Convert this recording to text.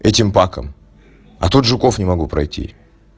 этим паком а тут жуков не могу пройти